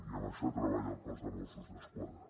i en això treballa el cos de mossos d’esquadra